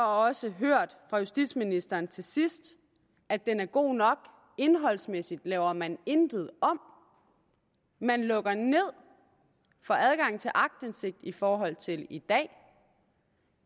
også hørt fra justitsministeren til sidst at den er god nok indholdsmæssigt laver man intet om man lukker ned for adgangen til aktindsigt i forhold til i dag